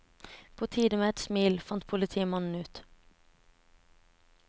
På tide med et smil, fant politimannen ut.